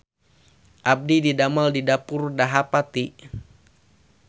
Abdi didamel di Dapur Dahapati